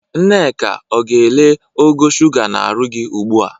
Nneka, ọ ga-ele ogo shuga n'arụ gi ugbu a?